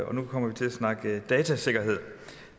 og nu kommer vi til at snakke datasikkerhed